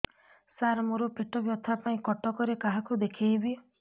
ସାର ମୋ ର ପେଟ ବ୍ୟଥା ପାଇଁ କଟକରେ କାହାକୁ ଦେଖେଇବି